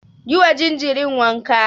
Yi wa jinjirin wanka.